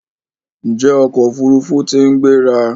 Njé ọkọ òfurufú t'in gbéra?